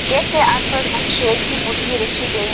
gate के आसपास एक शेर की मूर्ति रखी गई--